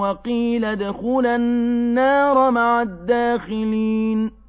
وَقِيلَ ادْخُلَا النَّارَ مَعَ الدَّاخِلِينَ